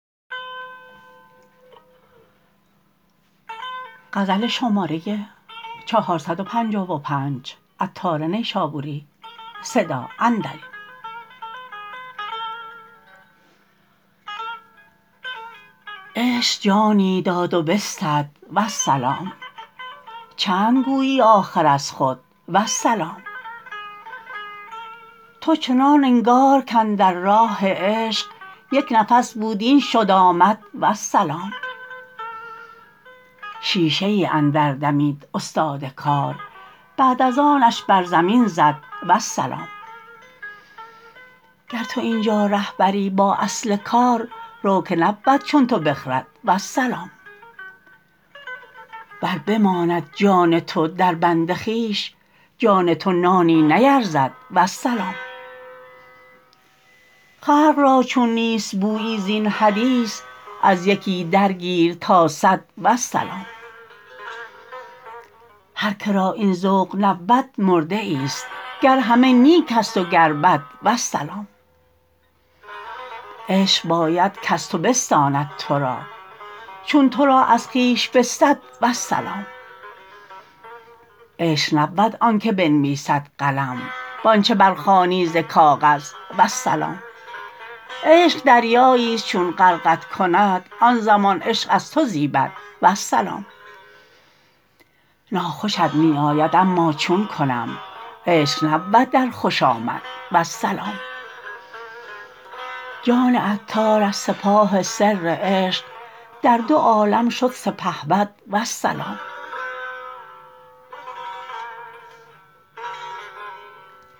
عشق جانی داد و بستد والسلام چند گویی آخر از خود والسلام تو چنان انگار کاندر راه عشق یک نفس بود این شد آمد والسلام شیشه ای اندر دمید استاد کار بعد از آنش بر زمین زد والسلام گر تو اینجا ره بری با اصل کار رو که نبود چون تو بخرد والسلام ور بماند جان تو دربند خویش جان تو نانی نیرزد والسلام خلق را چون نیست بویی زین حدیث از یکی درگیر تا صد والسلام هر که را این ذوق نبود مرده ای است گر همه نیک است و گر بد والسلام عشق باید کز تو بستاند تورا چون تورا از خویش بستد والسلام عشق نبود آن که بنویسد قلم وانچه برخوانی ز کاغذ والسلام عشق دریایی است چون غرقت کند آن زمان عشق از تو زیبد والسلام ناخوشت می آید اما چون کنم عشق نبود در خوش آمد والسلام جان عطار از سپاه سر عشق در دو عالم شد سپهبد والسلام